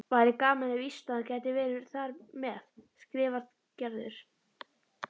Væri gaman ef Ísland gæti verið þar með, skrifar Gerður.